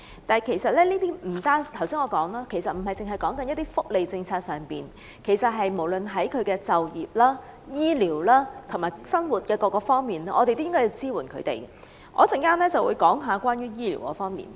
但正如我剛才所說，這不單指福利政策，而是無論就業、醫療和生活等各方面，我們都應該向他們提供支援，我稍後會討論醫療方面。